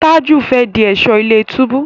Taju fè dì Ẹ̀ṣọ́ ilé-túbú.